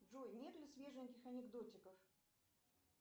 джой нет ли свеженьких анекдотиков